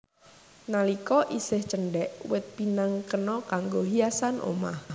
Nalika isih cendhèk wit pinang kena kanggo hiasan omah